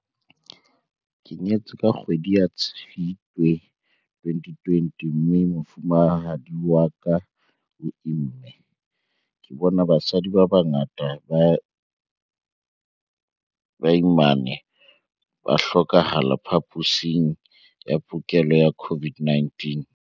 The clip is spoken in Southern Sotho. "Ke nyetse ka kgwedi ya Tshitwe 2020 mme mofumahadi wa ka o imme. Ke bone basadi ba bangata ba baimana ba hlokahala phaposing ya bookelo ya COVID-19."